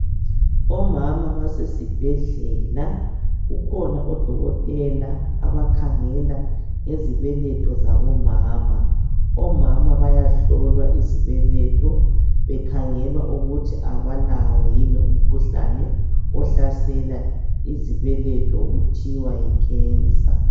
Omama abasezibhedlela kukhona odokotela abakhangela ngezibeletho zabomama omama bayahlolwa izibeletho bekhangela ukuthi abalawo yini umkhuhlane ohlasela izibeletho okuthiwa yiCancer